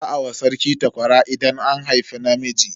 Za a wa sarki takwara idan an haifi namiji.